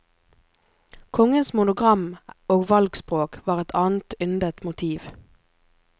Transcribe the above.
Kongens monogram og valgspråk var et annet yndet motiv.